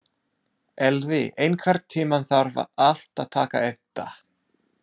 Elvi, einhvern tímann þarf allt að taka enda.